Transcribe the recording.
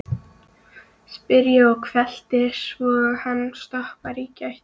spyr ég hvellt, svo hann stoppar í gættinni.